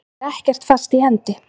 Það er ekkert fast í hendi.